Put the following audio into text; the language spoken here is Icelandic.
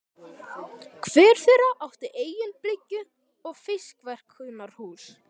Hver þeirra átti eigin bryggju og fiskverkunarhús.